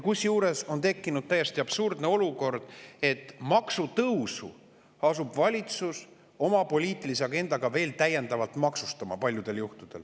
Kusjuures on tekkinud täiesti absurdne olukord, et maksutõusu asub valitsus paljudel juhtudel oma poliitilise agendaga veel täiendavalt maksustama.